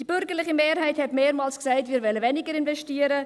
Die bürgerliche Mehrheit sagte mehrmals, wir wollten weniger investieren.